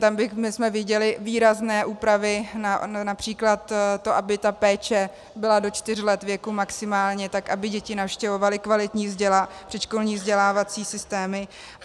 Tam bychom viděli výrazné úpravy, například to, aby ta péče byla do čtyř let věku maximálně, tak aby děti navštěvovaly kvalitní předškolní vzdělávací systémy.